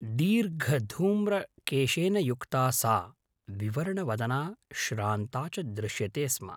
दीर्घधूम्रकेशेन युक्ता सा विवर्णवदना श्रान्ता च दृश्यते स्म।